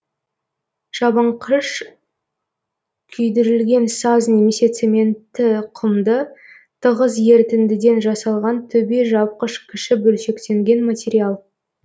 жабынқыш күйдірілген саз немесе цементті құмды тығыз ертіндіден жасалған төбе жапқыш кіші бөлшектенген материал